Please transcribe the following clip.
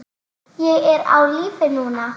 Ég er á lífi núna.